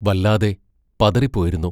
വല്ലാതെ പതറിപ്പോയിരുന്നു.